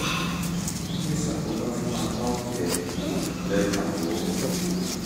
ó tún lè ṣàkóbá fún apá òkè ẹ̀yìn àti apá òkè; ẹ kàn wò ó